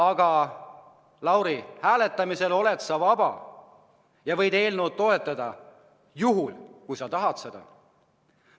Aga, Lauri, hääletamisel oled sa vaba ja võid eelnõu toetada, juhul kui sa tahad seda.